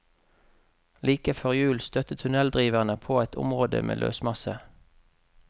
Like før jul støtte tunneldriverne på et område med løsmasse.